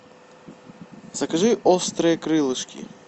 закажи острые крылышки